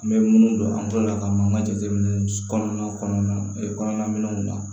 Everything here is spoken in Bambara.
An bɛ minnu don an tɔɔrɔ la ka an ka jateminɛ kɔnɔna kɔnɔna minɛnw na